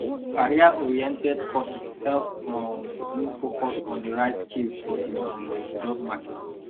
careeroriented courses help um you focus on the right skills for the um job market